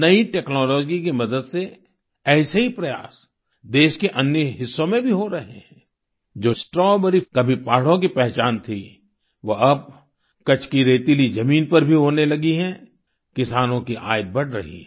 नई टेक्नोलॉजी की मदद से ऐसे ही प्रयास देश के अन्य हिस्सों में भी हो रहे हैं जो स्ट्रॉबेरी कभी पहाड़ों की पहचान थी वो अब कच्छ की रेतीली जमीन पर भी होने लगी है किसानों की आय बढ़ रही है